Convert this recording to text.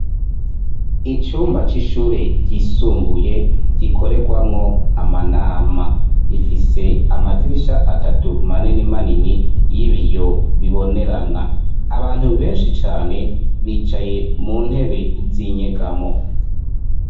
Icumba c'ishure ryisumbuye gikorerwamwo amanama. Gifise amadirisha atatu manini manini y'ibiyo bibonerana. Abantu benshi cane bicaye mu ntebe z'inyegamo;